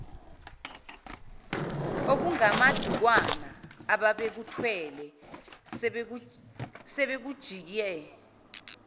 okungamadukwana abebekuthwele sebekujike